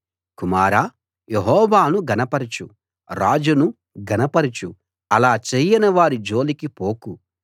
కుమారా యెహోవాను ఘనపరచు రాజును ఘనపరచు అలా చేయనివారి జోలికి పోకు